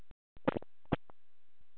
Að guð vilji ekki þekkja hann.